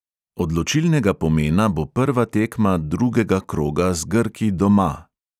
Odločilnega pomena bo prva tekma drugega kroga z grki doma.